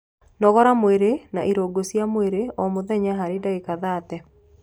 Nogora mwĩrĩ na irũngo cia mwĩrĩ o mũthenya harĩ ndagĩka thate